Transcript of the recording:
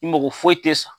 I mago foyi tɛ sa